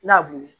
Nabu